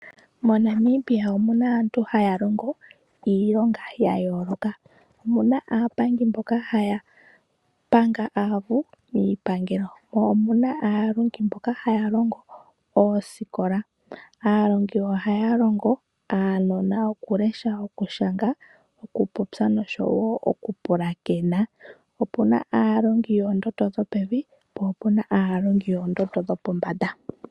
MoNamibia omu na aantu haa longo iilonga ya yooloka. Omu na aapangi mboka haa panga aavu miipangelo, mo omu na aalongi mboka haa longo oosikola. Aalongi ohaya longo aanona okulesha, okushanga, okupopya, osho wo okupulakena. Opu na aalongi yoondondo dhopevi, po opu na aalongi yoondondo dhopombanda.